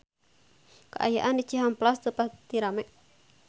Kaayaan di Cihampelas teu pati rame